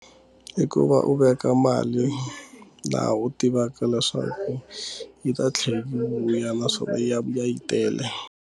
I ku va u veka mali laha u tivaka leswaku yi ta tlhela yi vuya naswona ya vuya yi tele.